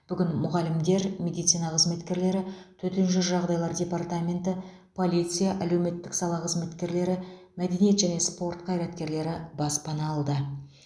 бүгін мұғалімдер медицина қызметкерлері төтенше жағдаилар департаменті полиция әлеуметтік сала қызметкерлері мәдениет және спорт қаираткерлері баспана алды